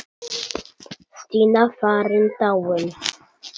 Stína farin, dáin.